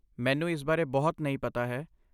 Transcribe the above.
ਮੈਨੂੰ ਇਸ ਬਾਰੇ ਬਹੁਤ ਨਹੀਂ ਪਤਾ ਹੈ।